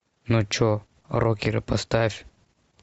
ну что рокеры поставь